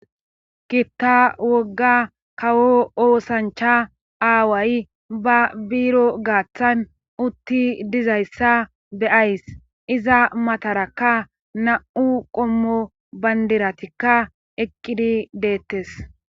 Kitta wogga kawo oosancha aaway ba biiro gaaththan utti dizayssa beyays iza matarakka na'u qommo bandiratikka eqqidi deettes.